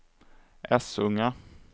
Essunga